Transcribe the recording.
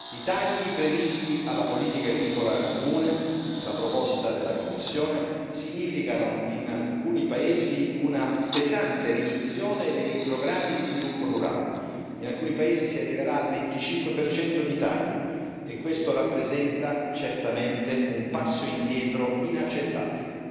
I tagli previsti alla politica agricola comune nella proposta della Commissione significano, in alcuni paesi, una pesante riduzione dei programmi di sviluppo rurale in alcuni paesi si arriverà al 25 di taglio e questo rappresenta certamente un passo indietro inaccettabile.